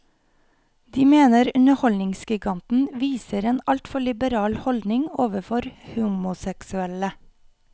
De mener underholdningsgiganten viser en altfor liberal holdning overfor homoseksuelle.